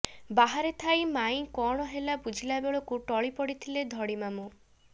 ବାହାରେ ଥାଇ ମାଇଁ କଣ ହେଲା ବୁଝିଲା ବେଳକୁ ଟଳି ପଡ଼ିଥିଲେ ଧଡ଼ିମାମୁଁ